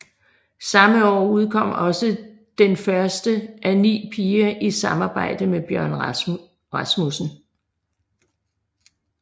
Samme år udkom også den første af 9 piger i samarbejde med Bjørn Rasmussen